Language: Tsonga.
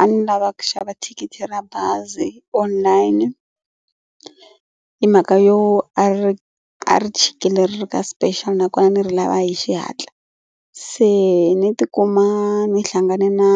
A ni lava ku xava thikithi ra bazi online hi mhaka yo a ri a ri chikile ri ri ka special nakona ni ri lava hi xihatla. Se ni tikuma ni hlangane na